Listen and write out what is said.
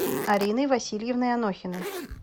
ариной васильевной анохиной